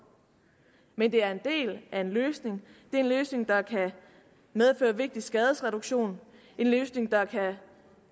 men det er en del af en løsning det er en løsning der kan medføre vigtig skadesreduktion en løsning der kan